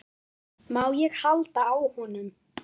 Má ég halda á honum?